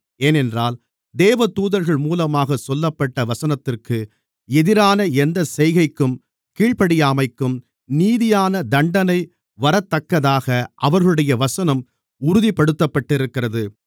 ஏனென்றால் தேவதூதர்கள் மூலமாகச் சொல்லப்பட்ட வசனத்திற்கு எதிரான எந்தச் செய்கைக்கும் கீழ்ப்படியாமைக்கும் நீதியான தண்டனை வரத்தக்கதாக அவர்களுடைய வசனம் உறுதிப்படுத்தப்பட்டிருக்கிறது